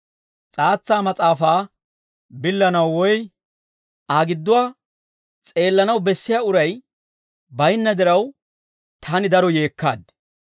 S'aatsa mas'aafaa billanaw woy Aa gidduwaa s'eellanaw bessiyaa uray baynna diraw, taani daro yeekkaad.